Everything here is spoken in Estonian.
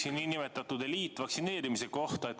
Küsin nn eliitvaktsineerimise kohta.